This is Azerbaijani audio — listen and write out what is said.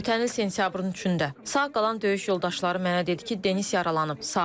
Ötən il sentyabrın üçündə sağ qalan döyüş yoldaşları mənə dedi ki, Denis yaralanıb, sağdır.